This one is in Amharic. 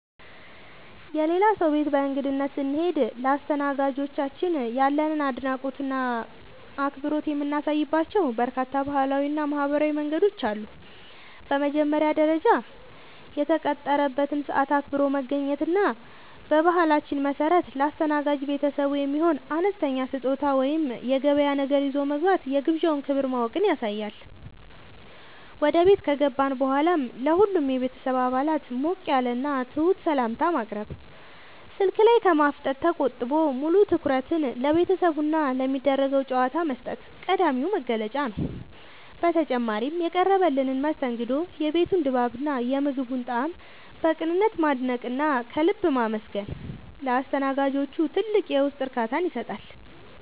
የሌላ ሰው ቤት በእንግድነት ስንሄድ ለአስተናጋጆቻችን ያለንን አድናቆትና አክብሮት የምናሳይባቸው በርካታ ባህላዊና ማኅበራዊ መንገዶች አሉ። በመጀመሪያ ደረጃ፣ የተቀጠረበትን ሰዓት አክብሮ መገኘት እና በባህላችን መሠረት ለአስተናጋጅ ቤተሰቡ የሚሆን አነስተኛ ስጦታ ወይም የገበያ ነገር ይዞ መግባት የግብዣውን ክብር ማወቅን ያሳያል። ወደ ቤት ከገባን በኋላም ለሁሉም የቤተሰብ አባላት ሞቅ ያለና ትሑት ሰላምታ ማቅረብ፣ ስልክ ላይ ከማፍጠጥ ተቆጥቦ ሙሉ ትኩረትን ለቤተሰቡና ለሚደረገው ጨዋታ መስጠት ቀዳሚው መገለጫ ነው። በተጨማሪም፣ የቀረበልንን መስተንግዶ፣ የቤቱን ድባብና የምግቡን ጣዕም በቅንነት ማድነቅና ከልብ ማመስገን ለአስተናጋጆቹ ትልቅ የውስጥ እርካታን ይሰጣል።